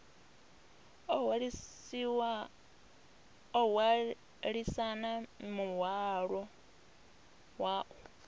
o hwalisana muhwalo wa u